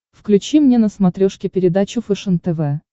включи мне на смотрешке передачу фэшен тв